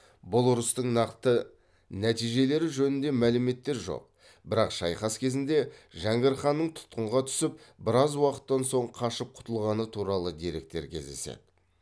бұл ұрыстың нақты нәтижелері жөнінде мәліметтер жоқ бірақ шайқас кезінде жәңгір ханның тұтқынға түсіп біраз уақыттан соң қашып құтылғаны туралы деректер кездеседі